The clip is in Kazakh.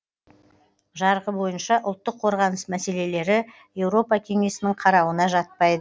жарғы бойынша ұлттық қорғаныс мәселелері еуропа кеңесінің қарауына жатпайды